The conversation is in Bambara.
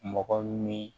Mɔgɔ min